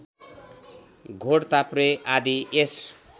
घोडताप्रे आदि यस